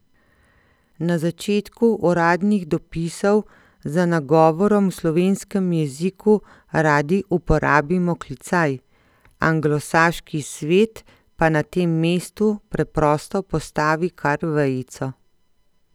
Na začetku uradnih dopisov za nagovorom v slovenskem jeziku radi uporabimo klicaj, anglosaški svet pa na tem mestu preprosto postavi kar vejico.